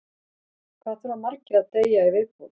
Hvað þurfa margir að deyja í viðbót?